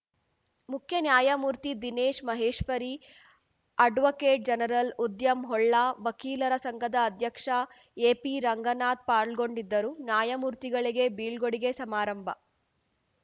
ಮುಖ್ಯ ನ್ಯಾಯಮೂರ್ತಿ Dinesh Maheshwari advocate general ಉದ್ಯಮ್ Holla ವಕೀಲರ ಸಂಘದ ಅಧ್ಯಕ್ಷ ಎಪಿರಂಗನಾಥ್‌ ಪಾಲ್ಗೊಂಡಿದ್ದರು ನ್ಯಾಯಮೂರ್ತಿಗಳಿಗೆ ಬೀಳ್ಗೊಡುಗೆ ಸಮಾರಂಭ